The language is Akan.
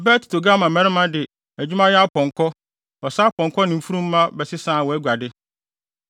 “ ‘Bet Togarma mmarima de adwumayɛ apɔnkɔ, ɔsa apɔnkɔ ne mfurum mma bɛsesaa wʼaguade.